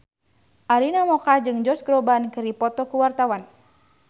Arina Mocca jeung Josh Groban keur dipoto ku wartawan